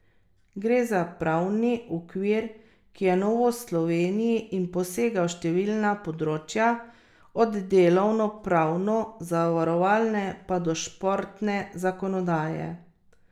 Gre za pravni okvir, ki je novost v Sloveniji in posega v številna področja, od delavno pravno, zavarovalne pa do športne zakonodaje.